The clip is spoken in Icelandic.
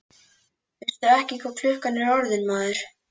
Veistu ekki hvað klukkan er orðin, maður?